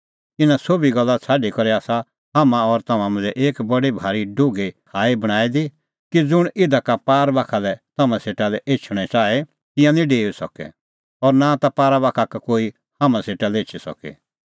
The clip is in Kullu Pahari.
इना सोभी गल्ला छ़ाडी करै आसा हाम्हां और तम्हां मांझ़ै एक बडी भारी डुघी खाल़्ही बणांईं दी कि ज़ुंण इधा का पारा बाखा लै तम्हां सेटा लै एछणअ च़ाहे तिंयां निं डेऊई सके और नां ता पारा बाखा का कोई हाम्हां सेटा लै एछी सके